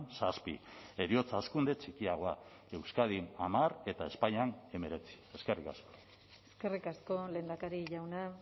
zazpi heriotza hazkunde txikiagoa euskadin hamar eta espainian hemeretzi eskerrik asko eskerrik asko lehendakari jauna